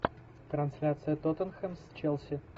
трансляция тоттенхэм с челси